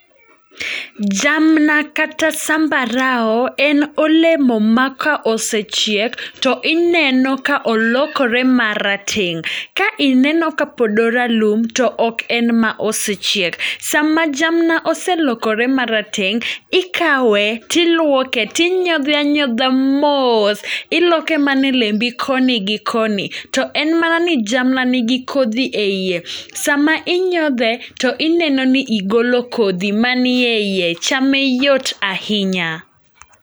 Jamna kata sambarao en olemo ma ka osechiek to ineno ka olokore marateng'. Ka ineno ka pod oralum to ok en ma osechiek. Sama jamna oselokore marateng', ikawe tiluoke, tinyodhe anyodha mos. Iloke manelembi koni gi koni, to en mana ni jamna nigi kodhi e iye. Sama inyodhe to ineno ni igolo kodhi ma niye iye, chame yot ahinya.